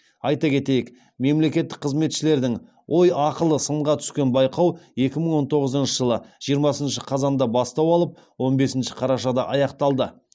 айта кетейік мемлекеттік қызметшілердің ой ақылы сынға түскен байқау екі мың он тоғызыншы жылы жиырмасыншы қазанда бастау алып он бесінші қарашада аяқталды